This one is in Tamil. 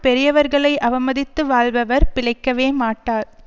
பெரியவர்களை அவமதித்து வாழ்பவர் பிழைக்கவேமாட்டார்